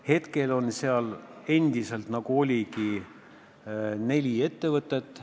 Hetkel on seal endiselt, nii nagu oligi, neli ettevõtet.